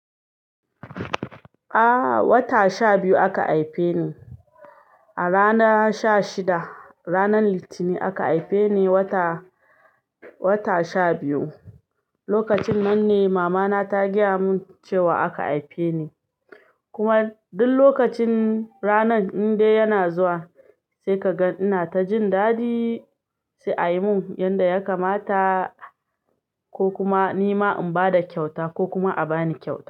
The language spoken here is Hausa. Ah, wata sha biyu aka haife ni. A rana sha shida, ranar litini aka haife ni wata, wata sha biyu. Lokacin man ne mama na ta gaya mun cewa aka haife ni. Kuma duk lokacin ranan in dai yana zuwa, sai ka ga ina ta jin dadi, sai a yi mun yanda ya kamata ko kuma ni ma in ba da kyauta ko kuma a ba ni kyauta.